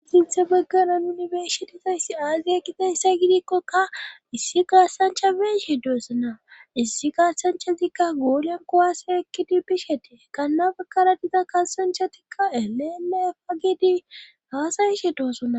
Sinthe baggeran unibershetizayssi aaziyakite hissa gidikkokka issi gaassancha beshe doossona issi gaassanchazikka goolan kowaase ekkidi bishetee qannabakara diza kasanchatikka elee afa gidi haasayishe doossona.